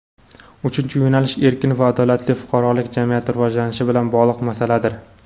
Uchinchi yo‘nalish – erkin va adolatli fuqarolik jamiyati rivojlanishi bilan bog‘liq masaladir.